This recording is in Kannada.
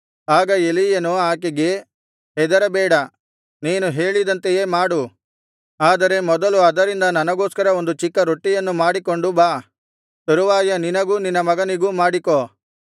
ಆಗ ಎಲೀಯನು ಆಕೆಗೆ ಹೆದರಬೇಡ ನೀನು ಹೇಳಿದಂತೆಯೇ ಮಾಡು ಆದರೆ ಮೊದಲು ಅದರಿಂದ ನನಗೋಸ್ಕರ ಒಂದು ಚಿಕ್ಕ ರೊಟ್ಟಿಯನ್ನು ಮಾಡಿಕೊಂಡು ಬಾ ತರುವಾಯ ನಿನಗೂ ನಿನ್ನ ಮಗನಿಗೂ ಮಾಡಿಕೋ